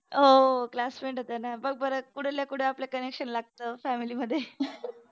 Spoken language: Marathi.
हो हो classmate होत्याना बघ बरं कुठल्या कुठ आपलं connection लागत family मध्ये